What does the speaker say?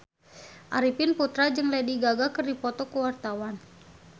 Arifin Putra jeung Lady Gaga keur dipoto ku wartawan